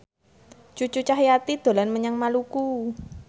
Cucu Cahyati dolan menyang Maluku